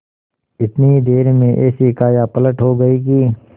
इतनी ही देर में ऐसी कायापलट हो गयी कि